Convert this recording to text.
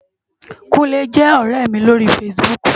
Kunle jè òrè mi lóri fásibúk